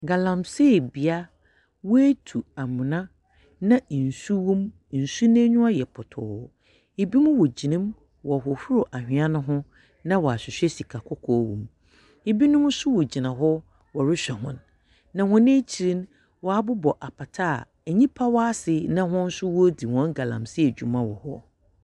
Galamsey bea. Hɔn atu amona, na nsu wɔ mu. Nsu n'enyiwa yɛ pɔtɔɔ. Binom wogyinam wɔrehohoro anhwea no ho na wɔahwehwɛ sikakɔkɔɔ wɔ mu. Binom nso wɔgyina hɔ wɔrehwɛ hɔ. Na hɔn ekyir no, wɔabobɔ apata a nyimpa wɔ ase na hɔn nso woridzi hɔn galamsey dwuma wɔ hɔ.